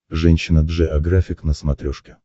женщина джеографик на смотрешке